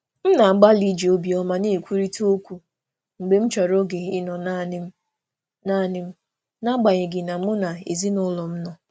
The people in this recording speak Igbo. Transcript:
M na-agbalị iji obi ọma ọma kwuo okwu mgbe m chọrọ oge ịnọrọ um naanị m n'agbanyeghị nso ezinụlọ. um